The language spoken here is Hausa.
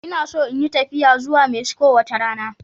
Ina so in yi tafiya zuwa Mexico wata rana.